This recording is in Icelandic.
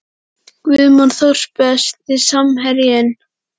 Guðmann Þóris Besti samherjinn?